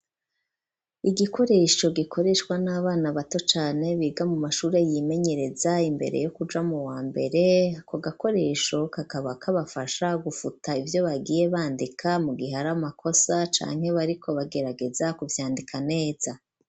Igikoresho gikoreshwa n'abana bato cane biga mu mashuri yimenyereza imbere yo kuja mu wa mbere, akogakoresho kakaba kabafasha gufuta ivyo bagiye bandika mugihe haramakosa canke bariko bagerageza kuvyandika neza.